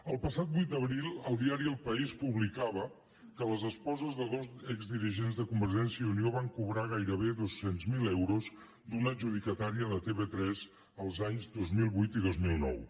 el passat vuit d’abril el diari el país publicava que les esposes de dos exdirigents de convergència i unió van cobrar gairebé dos cents miler euros d’una adjudicatària de tv3 els anys dos mil vuit i dos mil nou